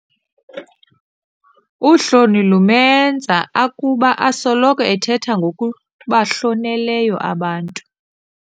Uhloni lumenza akuba asoloko ethetha ngokubahloneleyo abantu.